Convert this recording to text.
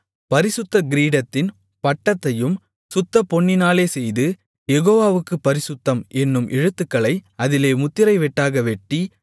பரிசுத்த கிரீடத்தின் பட்டத்தையும் சுத்தப்பொன்னினாலே செய்து யெகோவாவுக்குப் பரிசுத்தம் என்னும் எழுத்துக்களை அதிலே முத்திரை வெட்டாகவெட்டி